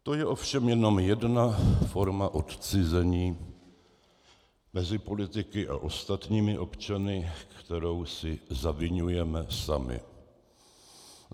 To je ovšem jenom jedna forma odcizení mezi politiky a ostatními občany, kterou si zaviňujeme sami.